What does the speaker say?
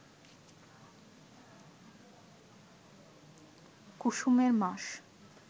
কুসুমের মাস